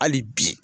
Hali bi